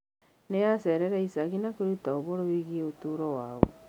Nĩ aacereire icagi na kwĩruta ũhoro wĩgiĩ ũtũũro wao.